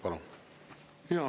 Palun!